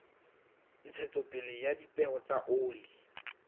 ntshetsopele ya dipeo tsa oli